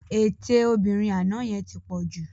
Ètè obìnrin àná yẹn ti pọ̀ jù